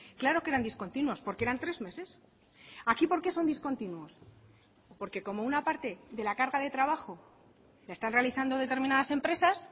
claro que eran discontinuos porque eran tres meses aquí por qué son discontinuos porque como una parte de la carga de trabajo la están realizando determinadas empresas